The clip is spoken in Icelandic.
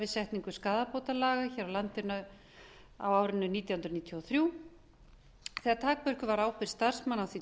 setningu skaðabótalaga hér á landi á árinu nítján hundruð níutíu og þrjú þegar takmörkuð var ábyrgð starfsmanna á því